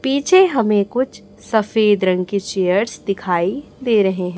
पीछे हमे कुछ सफेद रंग के चेयर्स दिखाई दे रहे है।